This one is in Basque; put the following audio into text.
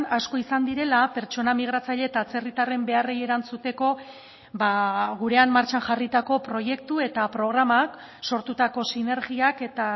asko izan direla pertsona migratzaile eta atzerritarren beharrei erantzuteko gurean martxan jarritako proiektu eta programak sortutako sinergiak eta